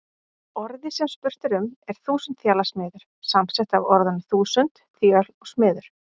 Orðið sem spurt er um er þúsundþjalasmiður, samsett af orðunum þúsund, þjöl og smiður.